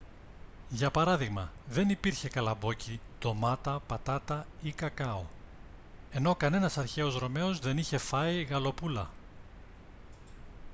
για παράδειγμα δεν υπήρχε καλαμπόκι ντομάτα πατάτα ή κακάο ενώ κανένας αρχαίος ρωμαίος δεν είχε φάει γαλοπούλα